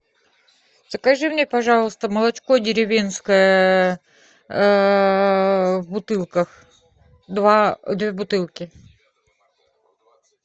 закажи мне пожалуйста молочко деревенское в бутылках две бутылки